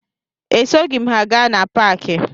Esoghi m ha gaa na paakị